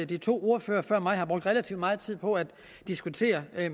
de to ordførere før mig brugte relativt meget tid på at diskutere